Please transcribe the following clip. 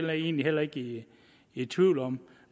jeg egentlig heller ikke i tvivl om